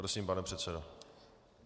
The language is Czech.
Prosím, pane předsedo.